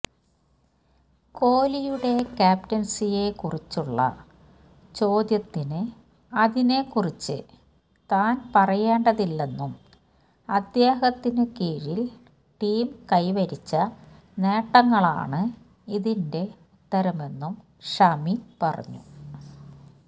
കോലിയുടെ ക്യാപ്റ്റന്സിയെക്കുറിച്ചുള്ള ചോദ്യത്തിന് അതിനെക്കുറിച്ച് താന് പറയേണ്ടതില്ലെന്നും അദ്ദേഹത്തിനു കീഴില് ടീം കൈവരിച്ച നേട്ടങ്ങളാണ് ഇതിന്റെ ഉത്തരമെന്നും ഷമി പറഞ്ഞു